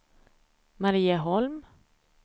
Marieholm